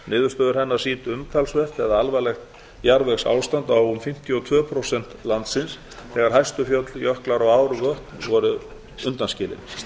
niðurstöður hennar sýndu umtalsvert eða alvarlegt jarðvegsástand á fimmtíu og tvö prósent landsins þegar hæstu fjöll jöklar ár og vötn eru undanskilin